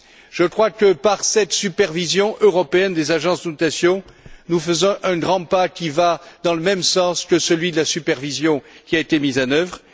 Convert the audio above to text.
Je crois que par cette supervision européenne des agences de notation, nous faisons un grand pas qui va dans le même sens que celui de la supervision qui a été mise en œuvre.